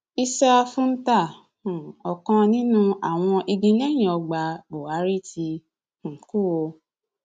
issa fúntà um ọkàn nínú àwọn igilẹyìnọgbà búhárì ti um kú o